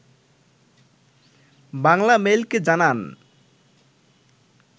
বাংলামেইলকে জানান